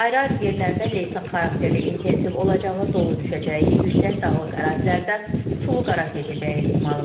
Ayrı-ayrı yerlərdə leysan xarakterli intensiv olacağı, dolu düşəcəyi, yüksək dağlıq ərazilərdə sulu qara keçəcəyi ehtimalı var.